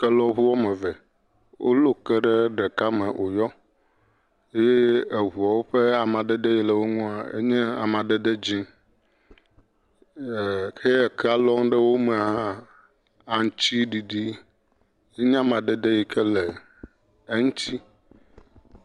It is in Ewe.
Kelɔŋu ame eve, wolɔ ke ɖe ɖeka me wò yɔ eye eŋuawo ƒe amadede yi le wo ŋuae nye amadede dzẽ, ɛɛ heya kea lͻm ɖe wo me hã aŋtsiɖiɖie nye amadede yi ke le eŋti